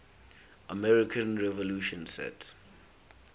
american revolution set